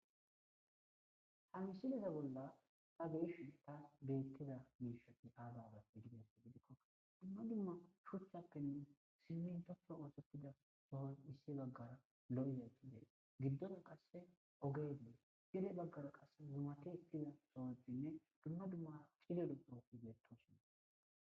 Ha misileza bolla ta beyishin tas betiza mishati aza axe gizaysa gidikon duma duma shoqatinne siminto masatiza baw issi bagara lo'iza mishati gidon qaseka ogey dees gede bagara zumati ekiza sohotinne duma duma cililo sohoti beetosona.